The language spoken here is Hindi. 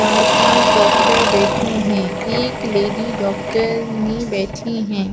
चार-पाँच डॉक्टर बैठे है एक लेडी डॉक्टरनी बैठी है।